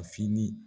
Fini